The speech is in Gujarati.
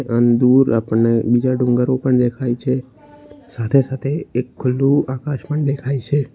અને દૂર આપણને બીજા ડુંગરો પણ દેખાય છે સાથે સાથે એક ખુલ્લુ આકાશ પણ દેખાય છે.